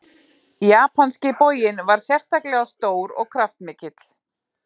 Japanski boginn var sérstaklega stór og kraftmikill.